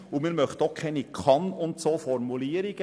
Wir möchten auch keine Kann-Formulierung.